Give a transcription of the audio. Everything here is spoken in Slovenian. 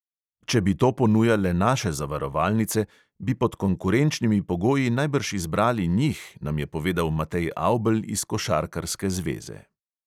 Če bi to ponujale naše zavarovalnice, bi pod konkurenčnimi pogoji najbrž izbrali njih, nam je povedal matej avbelj iz košarkarske zveze.